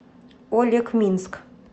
олекминск